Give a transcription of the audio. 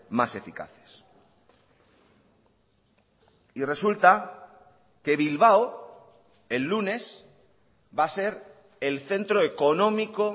más eficaces y resulta que bilbao el lunes va a ser el centro económico